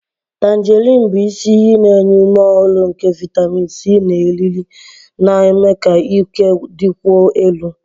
Tangerines bụ isi iyi na-enye ume ọhụrụ nke vitamin C na eriri, na-eme ka ike dịkwuo elu.